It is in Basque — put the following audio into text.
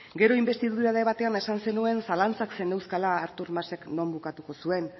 gero inbestidura debatean esan zenuen zalantzak zeneuzkala artur masek non bukatu zuen